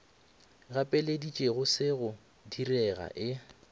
gapeleditšego se go direga e